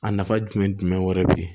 A nafa jumɛn wɛrɛ be ye